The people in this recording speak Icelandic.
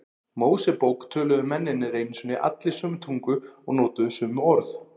Mósebók töluðu mennirnir einu sinni allir sömu tungu og notuðu sömu orð.